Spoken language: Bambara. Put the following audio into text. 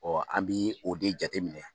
an bɛ o de jateminɛ